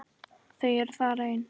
Þau eru þar ein.